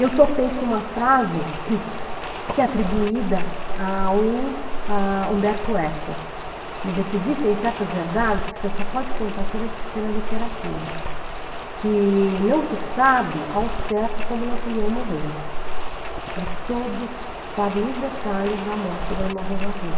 Eu topei com uma frase que é atribuída ao a Humberto Eco, dizer que existem certas verdades que você só pode contar pelas pela literatura, que não se sabe ao certo como Napoleão morreu, mas todos sabem os detalhes da morte da Emma Bovary.